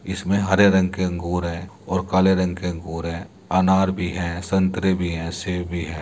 इसमें हरे रंग के अंगूर हैऔर काले रंग के अंगूर हैअनार भी है संतरें भी हैसेब भी है।